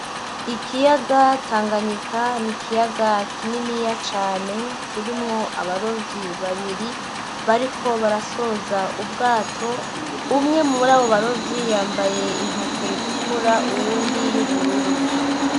Ikiyaga Tanganyika n'ikiyaga kininiya cane, kirimwo abarovyi babiri bariko barasoza ubwato, umwe muri abo barovyi yambaye inkofero itukura uwundi y'ubururu.